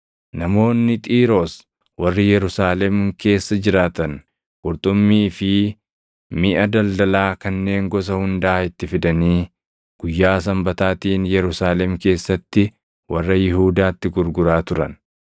Namoonni Xiiroos warri Yerusaalem keessa jiraatan qurxummii fi miʼa daldalaa kanneen gosa hundaa itti fidanii guyyaa Sanbataatiin Yerusaalem keessatti warra Yihuudaatti gurguraa turan.